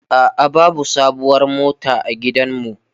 A'a, babu sabuwar mota a gidanmu.